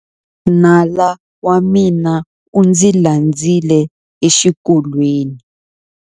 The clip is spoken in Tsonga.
Nala wa mina u ndzi landzile exikolweni.